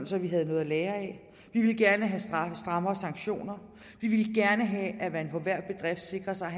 så vi havde noget at lære af vi ville gerne have strammere sanktioner vi ville gerne have at man på hver bedrift sikrer sig at